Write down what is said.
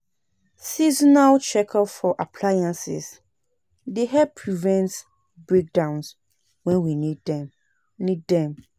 Seasonal check-up for appliances dey help prevent breakdowns when we need them, need them